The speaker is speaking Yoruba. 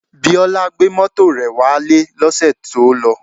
Biola gbé mọ́tò rẹ̀ wálé lọ́sẹ̀ tí ó lọ